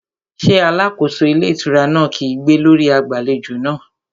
Ṣé alákóso ilé ìtura náà kígbe lórí agbàlejò náà?